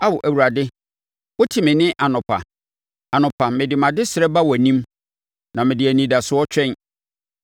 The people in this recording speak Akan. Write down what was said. Ao, Awurade, wote me nne anɔpa; anɔpa, mede mʼadesrɛ ba wʼanim na mede anidasoɔ twɛn.